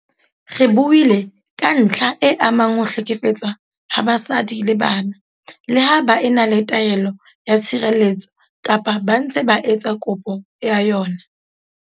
Re buile ka ntlha e amang ho hlekefetswa ha basadi le bana leha ba e na le taelo ya tshireletso kapa ba ntse ba etsa kopo ya yona.